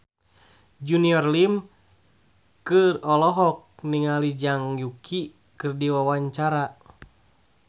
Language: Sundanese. Junior Liem olohok ningali Zhang Yuqi keur diwawancara